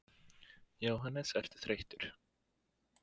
Jóhannes: Ertu þreyttur?